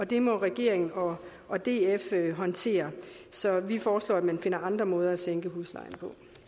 det må regeringen og og df håndtere så vi foreslår at man finder andre måder at sænke huslejen